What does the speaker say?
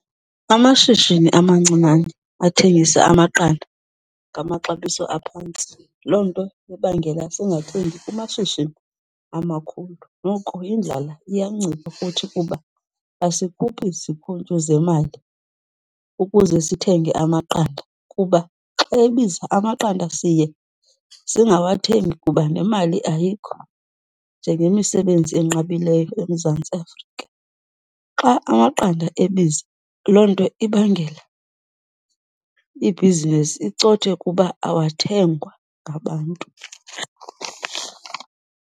Amashishini amancinane athengisa amaqanda ngamaxabiso aphantsi, loo nto ibangela singathengi kumashishini amakhulu. Noko indlala iyancipha kuthi kuba asikhuphi zikhuntyu zemali ukuze sithenge amaqanda kuba xa ebiza amaqanda, siye singawathengi kuba nemali ayikho, njengemisebenzi enqabileyo eMzantsi Afrika. Xa amaqanda ebiza, loo nto ibangela ibhizinesi icothe kuba awathengwa ngabantu.